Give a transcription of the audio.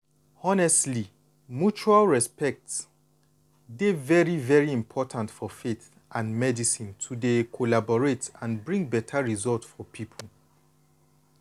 honestly mutual respect dey very very important for faith and medicine to dey collaborate and bring beta result for people.